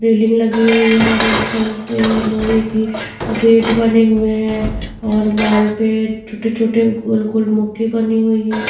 Railing लगी हुई है ऑरेंज कलर से लोहे की गेट बने हुई है और वॉल पे छोटे छोटे गोल गोल बनी हुई है।